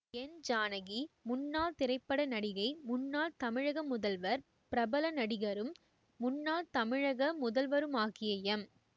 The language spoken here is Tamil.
என் ஜானகி முன்னாள் திரைப்பட நடிகை முன்னாள் தமிழக முதல்வர் பிரபல நடிகரும் முன்னாள் தமிழக முதல்வருமாகிய எம்